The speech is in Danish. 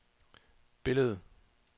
billedet